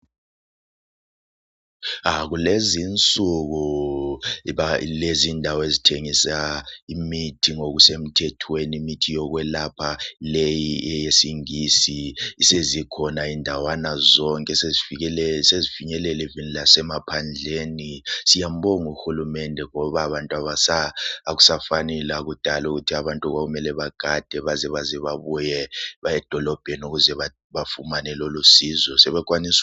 Kulezi insiku kukendawo ezithengisa imithi yokuyelapha leyi eyesingisi sezikhona indawana zonke sezifingelela kanye lasemaphandleni siyambonga uhulumende ngoba akusafani lakudala ukuthi abantu bekumele begade beze bebuye baye edolobheni